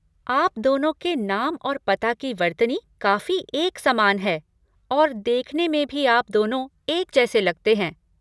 आप दोनों के नाम और पता की वर्तनी काफ़ी एक समान है और देखने में भी आप दोनों एक जैसे लगते हैं।